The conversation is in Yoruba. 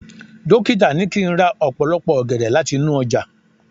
dokita ni kín ra opolopo ògèdè lati inú ojà